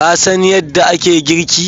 Ka san yadda ake girki?